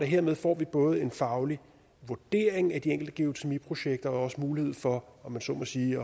hermed får både en faglig vurdering af de enkelte geotermiprojekter og også mulighed for om man så må sige